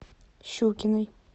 щукиной